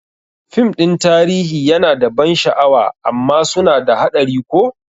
Fim ɗin tarihi yana da ban sha'awa amma suna da haɗari ko?